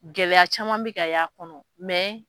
Gɛlɛya caman bɛ ka ye a kɔnɔ,